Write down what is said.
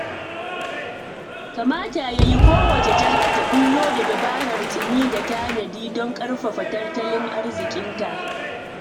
Kamata ya yi kowace jiha ta ɓullo da dabarar tsimi da tanadi don ƙarfafa tattalin arzikinta.